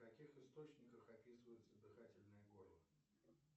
в каких источниках описывается дыхательное горло